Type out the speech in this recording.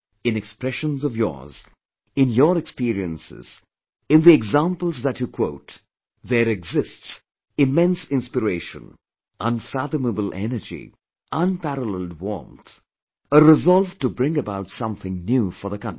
In utterances of yours, in your experiences, in the examples that you quote, there exists immense inspiration, unfathomable energy, unparalleled warmth; a resolve to bring about something new for the country